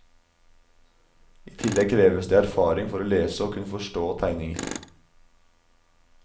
I tillegg kreves det erfaring for å lese og kunne forstå tegninger.